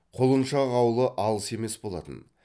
құлыншақ аулы алыс емес болатын